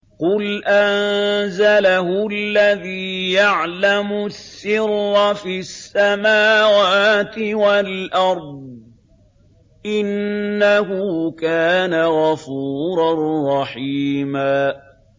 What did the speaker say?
قُلْ أَنزَلَهُ الَّذِي يَعْلَمُ السِّرَّ فِي السَّمَاوَاتِ وَالْأَرْضِ ۚ إِنَّهُ كَانَ غَفُورًا رَّحِيمًا